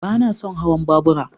Ba na son hawan babura.